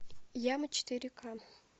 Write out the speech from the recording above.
яма четыре ка